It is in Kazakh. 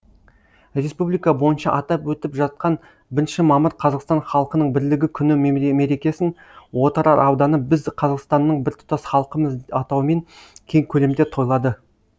республика бойынша атап өтіп жатқан бірінші мамыр қазақстан халқының бірлігі күні мерекесін отырар ауданы біз қазақстанның біртұтас халқымыз атауымен кең көлемде тойлады